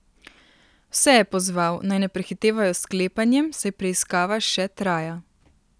Vse je pozval, naj ne prehitevajo s sklepanjem, saj preiskava še traja.